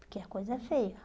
Porque a coisa é feia.